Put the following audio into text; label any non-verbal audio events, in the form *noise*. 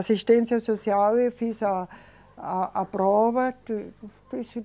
Assistência social, eu fiz a, a, a prova. *unintelligible*